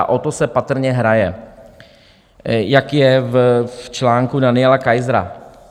A o to se patrně hraje, jak je v článku Daniela Kaisera.